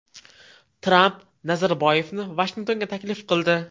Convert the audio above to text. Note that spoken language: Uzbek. Tramp Nazarboyevni Vashingtonga taklif qildi.